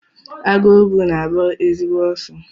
Agụogbu na-agba ezigbo ọsọ.